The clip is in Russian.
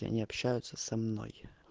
они общаются со мной